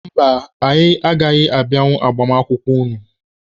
Mba, anyị agaghị abịanwu agbamakwụkwọ unu.